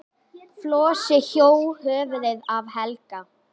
Flosi hjó höfuðið af Helga.